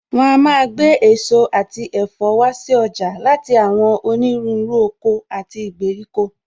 Wọn a máa gbé èso àti ẹ̀fọ́ wá si ọjà láti àwọn onírúurú oko àti ìgbèríko